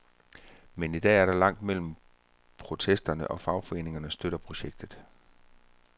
Men i dag er der langt mellem protesterne, og fagforeningerne støtter projektet.